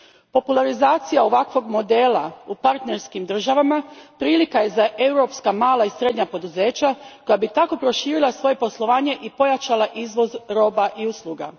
Popularizacija ovakvog modela u partnerskim državama prilika je za europska mala i srednja poduzeća koja bi tako proširila svoje poslovanje i pojačala izvoz roba i usluga.